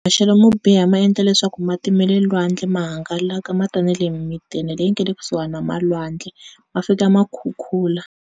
Maxelo mo biha maendla leswaku mati ma le lwandle ma hangalaka ma ta na le mintini leyi nga le kusuhi na ma lwandle ma fika ma khukhula.